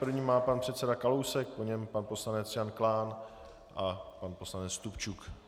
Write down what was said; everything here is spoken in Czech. První má pan předseda Kalousek, po něm pan poslanec Jan Klán a pan poslanec Stupčuk.